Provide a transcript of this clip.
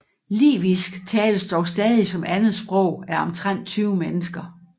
Livisk tales dog stadig som andet sprog af omtrent 20 mennesker